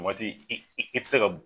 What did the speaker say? O waati i ti se kɛ